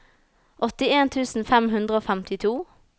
åttien tusen fem hundre og femtito